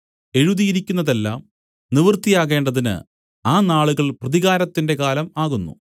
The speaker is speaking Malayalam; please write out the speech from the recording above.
എഴുതിയിരിക്കുന്നതെല്ലാം നിവൃത്തിയാകേണ്ടതിന് ആ നാളുകൾ പ്രതികാരത്തിന്റെ കാലം ആകുന്നു